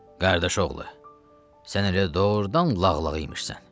Qardaşoğlu, sən elə doğrudan lağlağa imişsən.